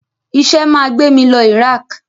Iṣẹ́ máa gbé mí lọ Iraq.